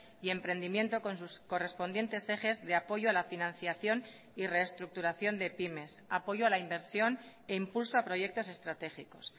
y emprendimiento con sus correspondientes ejes de apoyo a la financiación y reestructuración de pymes apoyo a la inversión e impulso a proyectos estratégicos